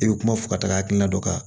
I bɛ kuma fɔ ka taa hakilina dɔ kan